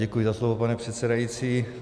Děkuji za slovo, pane předsedající.